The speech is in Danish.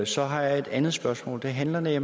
så har jeg et andet spørgsmål det handler om at